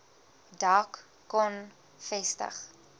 dak kon vestig